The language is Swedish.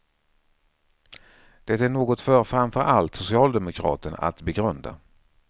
Det är något för framför allt socialdemokraterna att begrunda.